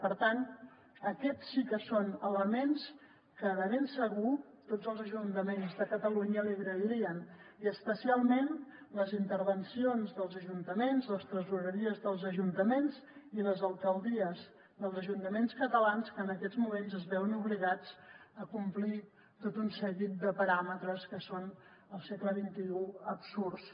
per tant aquests sí que són elements que de ben segur tots els ajuntaments de catalunya li agrairien i especialment les intervencions dels ajuntaments les tresoreries dels ajuntaments i les alcaldies dels ajuntaments catalans que en aquests moments es veuen obligats a complir tot un seguit de paràmetres que són al segle xxi absurds